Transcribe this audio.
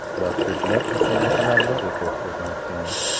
Ular ko‘plab musobaqalarda rekord o‘rnatgan.